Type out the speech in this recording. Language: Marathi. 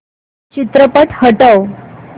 चित्रपट हटव